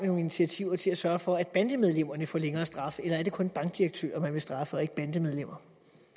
nogle initiativer til at sørge for at bandemedlemmerne får længere straffe eller er det kun bankdirektører man vil straffe og ikke bandemedlemmer